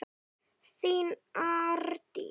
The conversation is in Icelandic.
Þín Árdís.